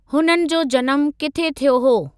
हुननि जो जनमु किथे थियो हो?